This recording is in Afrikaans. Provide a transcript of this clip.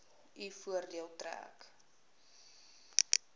u voordeel trek